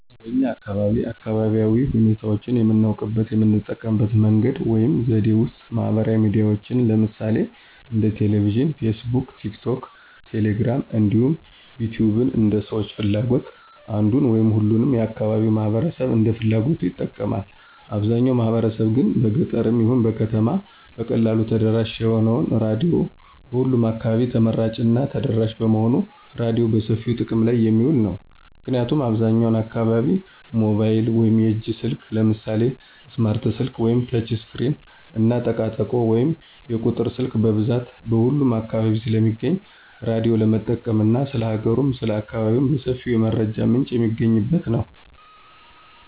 በኛ አካባቢ አካባቢያዊ ሁኔታዎችን የምናውቅበት የምንጠቀምበት መንገድ ወይም ዘዴ ውስጥ ማህበራዊ ሚዲያዎችን ለምሳሌ እንደ ቴሌቪዥን: ፌስቡክ: ቲክቶክ: ቴሌግራም እንዲሁም ዩቲዩብን እንደ ሰዎች ፍላጎት አንዱን ወይም ሁሉንም የአካባቢው ማህበረሰብ እንደ ፍላጎቱ ይጠቀማል። አብዛው ማህበረሰብ ግን በገጠርም ይሁን በከተማ በቀላሉ ተደራሽ የሆነው ራዲዮ በሁሉም አካባቢ ተመራጭ እና ተደራሽ በመሆኑ ራዲዮ በሰፊው ጥቅም ላይ የሚውል ነው። ምክንያቱም አብዛኛው አካባቢ ሞባይል ወይም የእጅ ስልክ ለምሳሌ ስማርት ስልክ ወይም ተች ስክሪን እና ጠቃጠቆ ወይም የቁጥር ስልክ በብዛት በሁሉም አካባቢ ስለሚገኝ ራዳዮ ለመጠቀም እና ስለ ሀገሩም ስለ አካባቢው በሰፊው የመረጃ ምንጭ የሚገኝበት ነው።